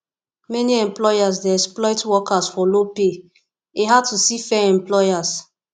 many employers dey exploit workers for low pay e hard to see fair employers